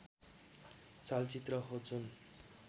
चलचित्र हो जुन